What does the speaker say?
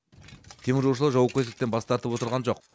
теміржолшылар жауапкершіліктен бас тартып отырған жоқ